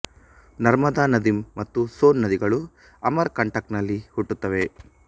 ನರ್ಮದಾ ನದಿ ಮತ್ತು ಸೋನ್ ನದಿಗಳು ಅಮರ್ ಕಂಟಕ್ ನಲ್ಲಿ ಹುಟ್ಟುತ್ತವೆ